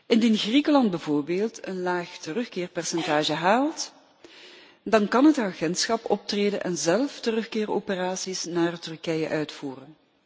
Indien Griekenland bijvoorbeeld een laag terugkeerpercentage haalt, dan kan het agentschap optreden en zelf terugkeeroperaties naar Turkije uitvoeren.